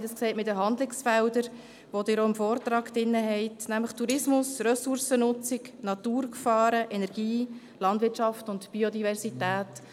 Man sieht es an den Handlungsfeldern, die Sie auch im Vortrag finden, nämlich Tourismus, Ressourcennutzung, Naturgefahren, Energie, Landwirtschaft und Biodiversität.